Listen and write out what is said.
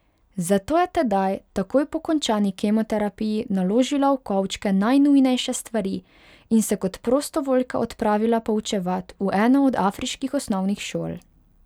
Zato je tedaj takoj po končani kemoterapiji naložila v kovčke najnujnejše stvari in se kot prostovoljka odpravila poučevat v eno od afriških osnovnih šol.